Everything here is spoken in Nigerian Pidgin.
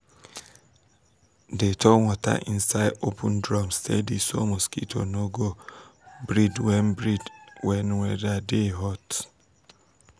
dey turn water inside open drum steady so mosquito no go um breed when um breed when weather dey um hot.